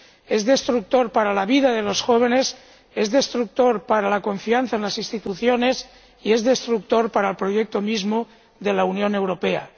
Es destructor para la vida de los jóvenes, es destructor para la confianza en las instituciones y es destructor para el proyecto mismo de la Unión Europea.